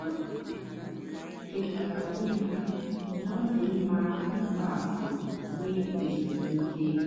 o chétàara onwé ya na ọ́ dị́ mma ị̀pụ́ àpụ́ nwè èzùmkè.